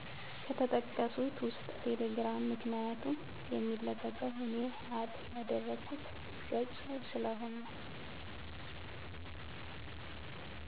ከተጠቀሡት ውስጥ ቴሌግራም ምክንያቱም የሚለቀቀው እኔ አድ ያደረኩት ገፅ ስለሆነ